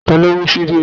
Ta ló mú ṣíbí mi?